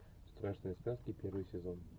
страшные сказки первый сезон